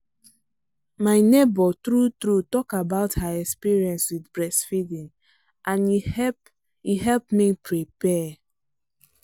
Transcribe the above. my neighbor true true talk about her experience with breast feeding and e help e help me prepare.